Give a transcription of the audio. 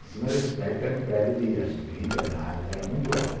Em cima desse prédio, que era um prédio de acho que vinte andares, era muito alto.